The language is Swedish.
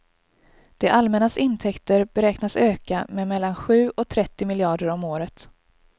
Det allmännas intäkter beräknas öka med mellan sju och trettio miljarder om året.